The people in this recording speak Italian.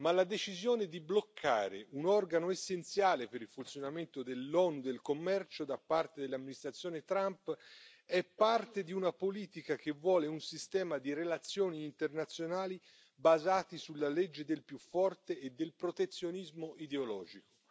Ma la decisione di bloccare un organo essenziale per il funzionamento dell'OMC da parte dell'amministrazione Trump è parte di una politica che vuole un sistema di relazioni internazionali basate sulla legge del più forte e del protezionismo ideologico.